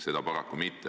Seda paraku mitte.